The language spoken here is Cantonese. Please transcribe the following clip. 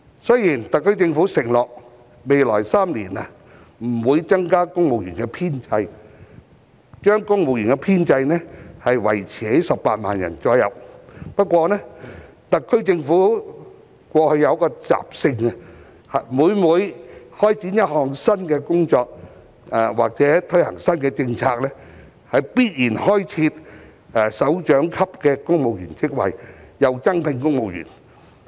雖然特區政府承諾未來3年不會增加公務員編制，將公務員編制維持在大約18萬人，不過特區政府過去有一個習性，就是在開展一項新工作或推行新政策時，必然開設首長級的公務員職位及增聘公務員。